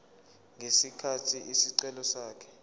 ngesikhathi isicelo sakhe